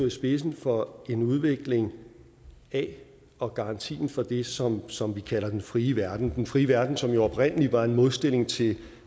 i spidsen for en udvikling af og garanti for det som som vi kalder den frie verden den frie verden som jo oprindelig var en modstilling til